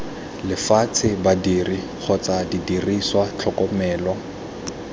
lefatshe badiri kgotsa didiriswa tlhokomelo